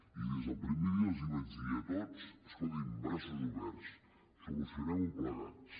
i des del primer dia els vaig dir a tots escoltin braços oberts solucionem ho plegats